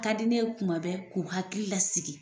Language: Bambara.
Ka di ne ye tuma bɛɛ k'u hakili lasigi